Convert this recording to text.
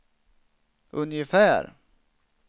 ungefär